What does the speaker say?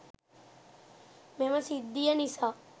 මෙම සිද්ධිය නිසා